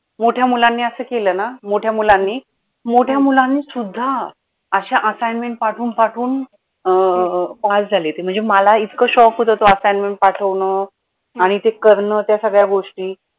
मोठ्या मुलांनी असं केलं ना मोठ्या मुलांनी मोठ्या मुलांनी सुद्धा अशा assignment पाठवून पाठवून अं pass झाले ते म्हणजे मला इतकं shock होतं ते assignment पाठवणं आणि ते करणं त्या सगळ्या गोष्टी